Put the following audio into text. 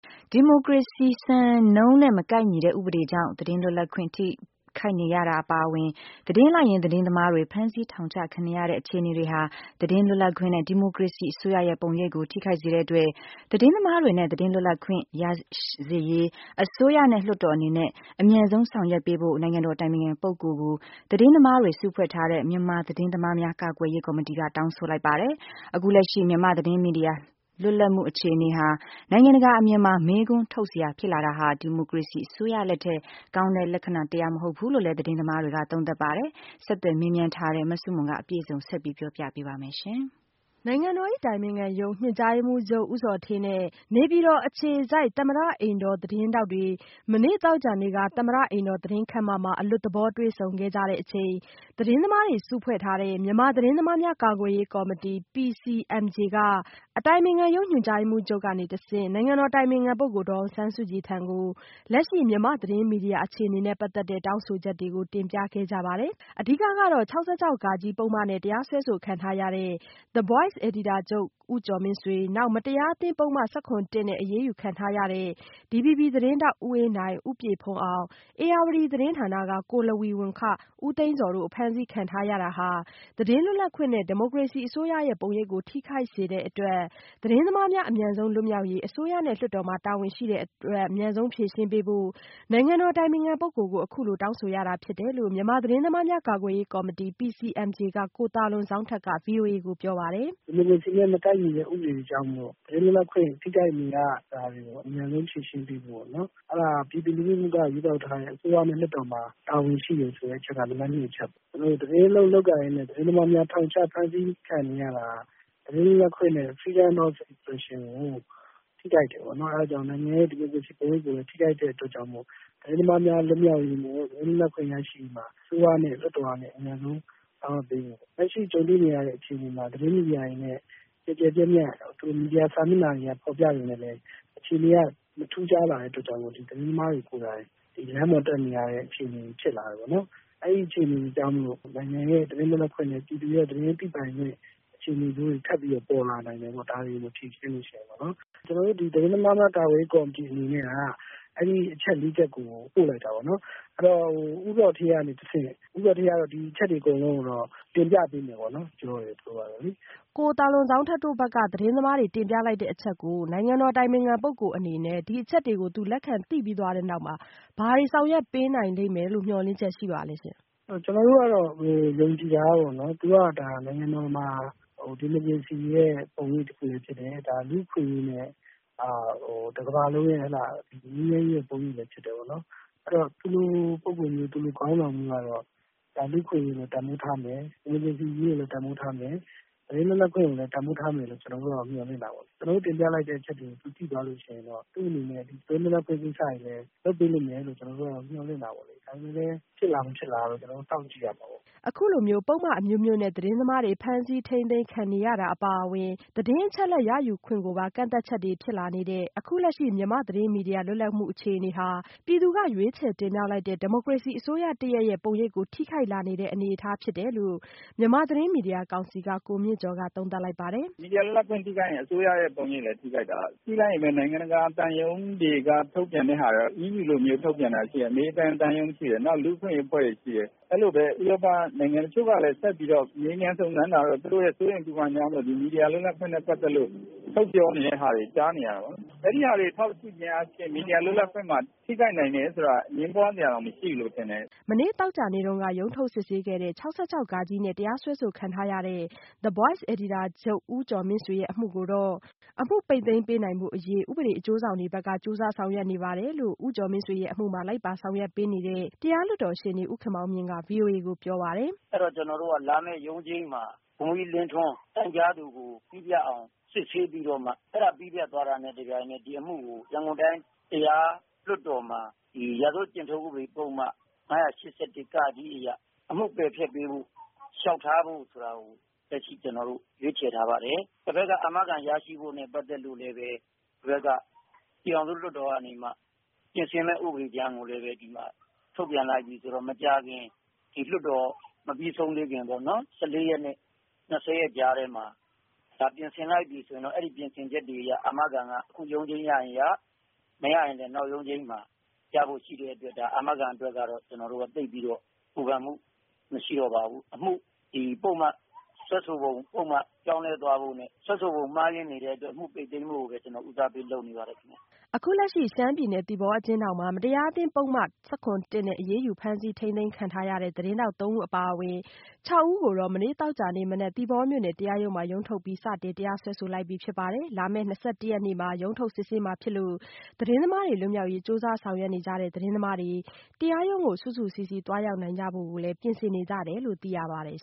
ဒီမိုကရေစီစံနှုန်းနဲ့ မကိုက်ညီတဲ့ဥပဒေတွေကြောင့် သတင်းလွတ်လပ်ခွင့် ထိခိုက်နေရတာအပါအဝင် သတင်းလိုက်ရင်း သတင်းသမားတွေ ဖမ်းဆီးထောင်ချခံနေရတဲ့ အခြေအနေတွေဟာ သတင်းလွတ်လပ်ခွင့်နဲ့ ဒီမိုကရေစီအစိုးရရဲ့ပုံရိပ်ကို ထိခိုက်စေတဲ့အတွက် သတင်းသမားတွေနဲ့ သတင်းလွတ်လပ်ခွင့်ရစေရေး အစိုးရနဲ့လွှတ်တော်အနေနဲ့ အမြန်ဆုံးဆောင်ရွက်ပေးဖို့ နိုင်ငံတော်အတိုင်ပင်ခံ ပုဂ္ဂိုလ်ကို သတင်းသမားတွေ စုဖွဲ့ထားတဲ့ မြန်မာသတင်းသမားများ ကာကွယ်ရေး ကော်မတီက တောင်းဆိုလိုက်ပါတယ်။ အခုလက်ရှိမြန်မာ့သတင်းမီဒီယာ လွတ်လပ်မှုအခြေအနေဟာ နိုင်ငံတကာအမြင်မှာပါ မေးခွန်းထုတ်စရာဖြစ်လာတာဟာ ဒီမိုကရေစီအစိုးရလက်ထက် ကောင်းတဲ့လက္ခဏာတရပ်မဟုတ်ဘူးလို့လည်း သတင်းသမားတွေက သုံးသပ်ပါတယ်။ မဆုမွန် ဆက်ပြောပြပါမယ်။ နိုင်ငံတော်၏ အတိုင်ပင်ခံပုဂ္ဂိုလ်ရုံး ညွှန်ကြားရေးမှူးချုပ်ဦးဇော်ဌေးနဲ့ နေပြည်တော်အခြေစိုက်သမ္မတအိမ်တော်သတင်းထောက်တွေ သမ္မတအိမ်တော် သတင်းခမ်းမမှာ အလွတ်သဘောတွေ့ဆုံခဲ့ကြချိန်သတင်းသမားတွေ စုဖွဲ့ထားတဲ့ မြန်မာသတင်းသမားများကာကွယ်ရေးကော်မတီ က အတိုင်ပင်ခံရုံးညွှန်ကြားရေးမှူးချုပ်ကတဆင့် နိုင်ငံတော်အတိုင်ပင်ခံပုဂ္ဂိုလ်ဒေါ်အောင်ဆန်းစုကြည်ထံကို လက်ရှိမြန်မာ့သတင်းမီဒီယာအခြေအနေနဲ့ပတ်သက်တဲ့ တောင်းဆိုချက်တွေကို တင်ပြခဲ့ကြပါတယ်။ အဓိကကတော့ ၆၆ ဃနဲ့ တရားစွဲဆိုခံထားရတဲ့ The Voice အယ်ဒီတာချုပ်ဦးကျော်မင်းဆွေ၊ နောက် မတရားအသင်း ဥပဒေ ၁၇ -၁ နဲ့ အရေးယူခံထားရတဲ့ DVB သတင်းဌာနမှ ဦးအေးနိုင်၊ ဦးပြည့်ဘုန်းအောင်၊ ဧရာဝတီသတင်းဌာနက ကိုလဝီဝမ် ဦးသိန်းဇော်တို့ အဖမ်းဆီးခံထားရတာဟာ သတင်းလွတ်လပ်ခွင့်နဲ့ ဒီမိုကရေစီအစိုးရရဲ့ပုံရိပ်ကို ထိခိုက်စေတဲ့အတွက်သတင်းသမားများ အမြန်ဆုံးလွတ်မြောက်ရေး အစိုးရနဲ့လွှတ်တော်မှာ တာဝန်ရှိတဲ့အတွက် အမြန်ဆုံးဖြေရှင်းပေးဖို့ နိုင်ငံတော်အတိုင်ပင်ခံပုဂ္ဂိုလ်ကို အခုလိုတောင်းဆိုရတာဖြစ်တယ်လို့ မြန်မာသတင်းသမားများကာကွယ်ရေးကော်မတီ ကိုသာလွန်ဇောင်းထက်က ဗွီအိုအေကိုပြောပါတယ်။ “ဒီမိုကရေစီနဲ့ မကိုက်ညီတဲ့ ဥပဒေတွေကြောင့်မို့လို့ သတင်းလွှတ်လပ်ခွင့်ထိခိုက်နေရတာတွေကို အမြန်ဆုံးဖြေရှင်းပေးဖို့ အဲဒါက ပြည်သူလူထုက ရွေးကောက်ထားတဲ့ အစိုးရ၊ လွှတ်တော်မှာ တာဝန်ရှိတယ်ဆိုတာက နံပတ်၂ အချက်ပေါ့နော်။ သတင်းလုပ်ကိုင်နေရင်းနဲ့ သတင်းသမားတွေ ထောင်ချဖမ်းဆီးခံနေရတာတွေ က သတင်းလွတ်လပ်ခွင့်နဲ့ freedom of Expression ကို ထိခိုက်တယ် ပေါ့နော် အဲဒါကြောင့် သတင်းသမားများလွတ်မြောက်ရေးနဲ့ သတင်းသမားများလွတ်လပ်ခွင့်ကို ရရှိဖို့ အစိုးရ၊ လွှတ်တော်မှာ အမြန်ဆုံး ဆောင်ရွက်ပေးဖို့ပေါ့။ လက်ရှိကြုံတွေ့နေရတဲ့အခြေအနေမှာ သတင်းမီဒီယာတွေနဲ့ကျယ်ကျယ်ပြန့်ပြန့် မီဒီယာ စာမျက်နှာတွေက ဖော်ပြပေမယ့်လည်း အခြေအနေက မထူးခြားလာတဲ့အတွက်ကြောင့် သတင်းသမားတွေကိုယ်တိုင် လမ်းပေါ်တက်နေရတဲ့အခြေအနေဖြစ်လာတယ်ပေါ့နော်။ အဲဒီအခြေအနေကြောင့်မို့လို့ နိုင်ငံရဲ့ သတင်းလွတ်လပ်ခွင့်နဲ့ ပြည်သူရဲ့ သတင်းသိပိုင်ခွင့် ချုပ်ထိန်းမှုတွေ ထပ်ပြီးတော့ ပေါ်လာနိုင်တယ်ပေါ့ ဒါတွေကို မဖြေရှင်းလို့ရှိရင်ပေါ့နော်။ ကျနော်တို့ သတင်းသမားများကာကွယ်ရေးကော်မတီ အနေနဲ့က အဲဒီအချက် ၄ ချက်ကို ပို့လိုက်တာပေါ့နော်။ ဒါကို ဦးဇော်ဌေးကနေတဆင့် ဦးဇော်ဌေးကတော့ ဒီအချက်တွေကို တင်ပြပေးမယ်ပေါ့နော်။ မေး။ ။ ကိုသာလွန်ဇောင်းထက်တို့ဘက်က တင်ပြလိုက်တဲ့အချက်ကို နိုင်ငံတော်အတိုင်ပင်ခံ ပုဂ္ဂိုလ်အနေနဲ့ ဒီအချက်တွေကို လက်ခံသိပြီးသွားတဲ့နောက်မှာ ဘာတွေဆောင်ရွက်ပေးနိုင်လိမ့်မယ်လို့ မျှော်လင့်ချက် ရှိပါသလဲရှင့်။ ဖြေ။ ။ကျနော်တို့ကတော့ ယုံကြည်တာကတော့ သူက နိုင်ငံတော်မှာ ဒီမိုကရေစီရဲ့ ပုံရိပ်တခုလည်းဖြစ်တယ်၊ လူ့အခွင့်အရေးနဲ့ တကမ္ဘာလုံးရဲ့ ငြိမ်းချမ်းရေးပုံရိပ်လည်းဖြစ်တယ်။ ဆိုတော့ သူလို ပုဂ္ဂိုလ်မျိုး၊ သူ့လိုခေါင်းဆောင်မျိုးကတော့ လူ့အခွင့်အရေးကို တန်ဖိုးထားမယ်။ ဒီမိုကရေစီရေးကိုလည်း တန်ဖိုးထားမယ် ။ သတင်းလွတ်လပ်ခွင့်ကိုလည်း တန်ဖိုးထားမယ်လို့ ကျနော်တို့မျှော်လင့်တာပေါ့နော်။ ကျနော်တို့တင်ပြလိုက်တဲ့အချက်တွေကို သူသိသွားရင်တော့ သူ့အနေနဲ့ သတင်းလွတ်လပ်ခွင့်ကိစ္စ တွေလည်းလုပ်ပေးမယ်လို့ မျှော်လင့်တာပေါ့လေ။ ဒါပေမယ့်လည်း ဖြစ်လာမဖြစ်လာကတော့ ကျနော်တို့ စောင့်ကြည့်ရမှာပေါ့။” အခုလိုပုဒ်မအမျိုးမျိုးနဲ့ သတင်းသမားတွေ ဖမ်းဆီးထိန်းသိမ်းခံနေရတာအပါအဝင် သတင်းအချက်အလက်ရယူခွင့်ပါ ကန့်သတ်ချက်တွေဖြစ်လာနေတဲ့ အခုလက်ရှိမြန်မာသတင်းမီဒီယာလွတ်လပ်မှုအခြေအနေ ဟာ ပြည်သူကရွေးချယ်တင်မြောက်လိုက်တဲ့ ဒီမိုကရေစီအစိုးရတရပ်ရဲ့ ပုံရိပ်ကို ထိခိုက်လာနေတဲ့အနေအထားဖြစ်လာနေတယ်လို့ မြန်မာနိုင်ငံသတင်းမီဒီယာကောင်စီက ကိုမြင့်ကျော်က သုံးသပ်လိုက်ပါတယ်။ “မီဒီယာ လွတ်လပ်ခွင့်ထိခိုက်ရင် အစိုးရပုံရိပ်ထိချက်တယ်။ ကြည့်လိုက်ရင်လည်း နိုင်ငံတကာသံရုံးတွေထုတ်ပြန်တာတွေရှိတယ်၊ အမေရိကန်သံရုံးရှိတယ်၊ လူ့အခွင့်အရေးအဖွဲ့တွေရှိတယ်၊ အဲလိုပဲ ဥပရောပနိုင်ငံတွေရှိတယ်။ တချို့ကလည်း ဆက်ပြီးတော့ မေးမြန်းစုံစမ်းတာကတော့ သူတို့စိုးရိမ်ပူပန်တာကြောင့် မီဒီယာလွတ်လပ်ခွင့်နဲ့ ပတ်သက်ပြီးထုတ်ပြောတာတွေ ကြားနေရတာပေါ့နော်။ အဲဒီဟာတွေ ထောက်ကြည့်ခြင်းအားဖြင့် မီဒီယာ လွတ်လပ်ခွင့်မှာ ထိနေတယ်ဆိုတာက အငြင်းပွားစရာမရှိဘူးထင်တယ်။” မနေ့သောကြာနေ့က ရုံးထုတ်စစ်ဆေးခဲ့တဲ့ ၆၆ ဃနဲ့ တရားစွဲဆိုခံထားရတဲ့ The Voice အယ်ဒီတာချုပ်ဦးကျော်မင်းဆွေရဲ့ အမှုကိုတော့ အမှုပိတ်သိမ်းပေးနိုင်ဖို့အရေး ဥပဒေအကျိုးဆောင်တွေဘက်က ကြိုးစားဆောင်ရွက်နေတယ်လို့ ဦးကျော်မင်းဆွေရဲ့ အမှုမှာ လိုက်ပါဆောင်ရွက်ပေးနေတဲ့ တရားလွှတ်တော်ရှေ့နေ ဦးခင်မောင်မြင့်က ဗွီအိုအေကို ပြောပါတယ်။ “အဲဒီတော့ ကျနော်တို့က လာမယ့်ရုံးချိန်းမှာ ဗိုလ်ကြီးလင်းထွန်း တိုင်ကြားသူကို ပြီးပြတ်အောင် စစ်ဆေးပြီးတော့မှ အဲဒါပြီးပြတ်သွားတာနဲ့ တပြိုင်ထဲ ဒီအမှုကို ရန်ကုန်တိုင်း တရားလွှတ်တော်မှာ ရာဇဝတ်ကျင့်ထုံးဥပဒေ ပုဒ်မ ၅၈၁ အရ အမှုပယ်ဖျက်ပေးဖို့ လျှောက်ထားဖို့ဆိုတာကို ကျနော်တို့ ရွေးချယ်ထားပါတယ်။ ဟိုဘက်က အာမခံရရှိဖို့နဲ့ ပတ်သက်လို့လည်း ပြည်ထောင်စုလွှတ်တော်ကနေ ပြင်ဆင်မယ့်ဥပဒေကြမ်းကို ဒီမှာထုတ်ပြန်လိုက်ပြီဆိုတော့ မကြာခင် ဒီလွှတ်တော် မပြီးဆုံးသေးခင်ပေ့ါနော် ၁၄ ရက်နဲ့ ၂၀ ရက်ကြားထဲမှာ ပြင်ဆင်လိုက်ပြီဆိုရင် အာမခံက အခုရုံးချိန်းရရင်ရ၊ မရရင်လည်း နောက်ရုံးချိန်းမှာ ရဖို့ရှိတဲ့အတွက် အာမခံအတွက်ကတော့ ကျနော်တို့ သိပ်ပြီးတော့ ပူပန်မှုမရှိတော့ပါဘူး။ အမှု စွဲဆိုတဲ့ ပုဒ်မ ပြောင်းလဲသွားဖို့နဲ့ စွဲဆိုပုံမှားယွင်းနေတဲ့အတွက် အမှုပိတ်သိမ်းဖို့ကိုပဲ ကျနော်ဦးစားပေးလုပ်နေပါတယ်ခင်ဗျ။” အခုလက်ရှိ ရှမ်းပြည်နယ်သီပေါအကျဉ်းထောင်မှာ မတရားအသင်း ဥပဒေပုဒ်မ ၁၇ နဲ့ အရေးယူ ဖမ်းဆီး ထိန်းသိမ်းခံထားရတဲ့သတင်းထောက် ၃ ဦး အပါအဝင် ၆ ဦးကို တော့ မနေ့သောကြာနေ့ မနက် သီပေါမြို့နယ် တရားရုံးမှာရုံးထုတ်ပြီး စတင် တရားစွဲဆိုလိုက်ပြီး လာမယ့် ၂၁ရက်နေ့မှဘဲ ရုံးထုတ်စစ်ဆေးမှာဖြစ်လို့ သတင်းသမားတွေ လွတ်မြောက်ရေး ကြိုးစားဆောင်ရွက်နေကြတဲ့ သတင်းသမားတွေ တရားရုံးကို စုစုစည်းစည်း သွားရောက်ကြဖို့လည်း ပြင်ဆင်နေကြတယ်လို့သိရပါတယ်